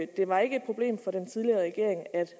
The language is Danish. det var ikke et problem for den tidligere regering at